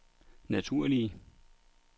naturlige